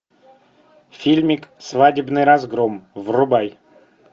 фильмик свадебный разгром врубай